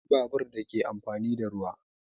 Akwai babur da ke amfani da ruwa